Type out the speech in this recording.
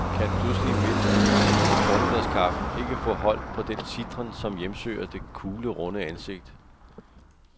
Kan pludselig midt i formiddagskaffen ikke få hold på den sitren, som hjemsøger det kuglerunde ansigt.